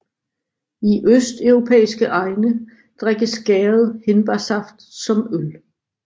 I østeuropæiske egne drikkes gæret hindbærsaft som øl